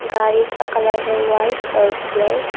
गाड़ी का कलर है व्हाइट और ब्लैक ।